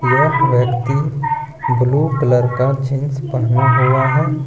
यह व्यक्ति blue colour का जींस पहना हुआ है।